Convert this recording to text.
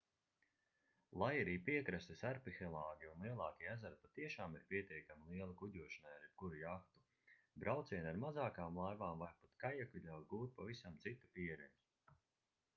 lai arī piekrastes arhipelāgi un lielākie ezeri patiešām ir pietiekami lieli kuģošanai ar jebkuru jahtu braucieni ar mazākām laivām vai pat kajaku ļauj gūt pavisam citu pieredzi